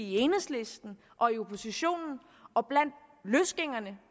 i enhedslisten og i oppositionen og blandt løsgængerne